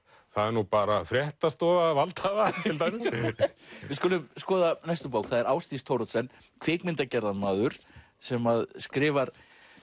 það er nú bara fréttastofa valdhafa til dæmis við skulum skoða næstu bók það er Ásdís Thoroddsen kvikmyndagerðarmaður sem skrifar